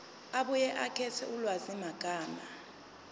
abuye akhethe ulwazimagama